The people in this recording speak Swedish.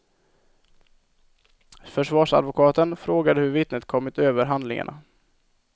Försvarsadvokaten frågade hur vittnet kommit över handlingarna.